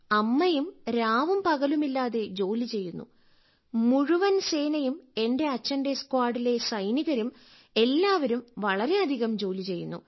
അമ്മയും രാവും പകലുമില്ലാതെ ജോലി ചെയ്യുന്നു മുഴുവൻ സേനയും എന്റെ അച്ഛന്റെ സ്ക്വാഡിലെ സൈനികരും എല്ലാവരും വളരെയധികം ജോലി ചെയ്യുന്നു